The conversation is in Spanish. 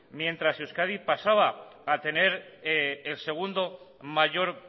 mientras euskadi pasaba a tener el segundo mayor